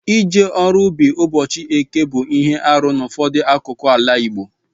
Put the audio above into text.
Ije ọrụ ubi ụbọchị eke bu ihe arụ n'ụfọdụ akụkụ ala Igbo.